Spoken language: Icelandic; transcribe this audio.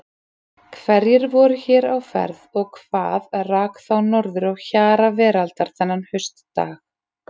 Hverjir voru hér á ferð og hvað rak þá norður á hjara veraldar þennan haustdag?